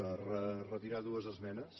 per retirar dues esmenes